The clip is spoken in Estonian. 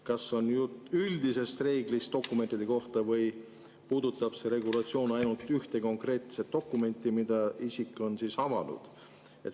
Kas jutt on üldisest reeglist dokumentide kohta või puudutab see regulatsioon ainult ühte konkreetset dokumenti, mille isik on avanud?